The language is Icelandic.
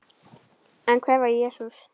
En hver var Jesús?